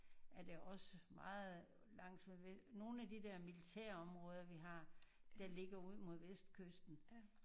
Er der også meget langt ved Vest nogle af de der militærområder vi har der ligger ud mod Vestkysten